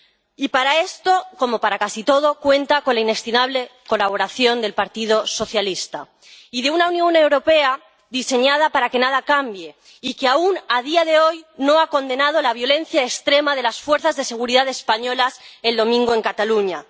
Y para esto, como para casi todo, cuenta con la inestimable colaboración del Partido Socialista y de una Unión Europea diseñada para que nada cambie y que, aún, a día de hoy, no ha condenado la violencia extrema de las fuerzas de seguridad españolas el domingo en Cataluña.